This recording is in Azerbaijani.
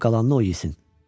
Qoy qalanını o yesin.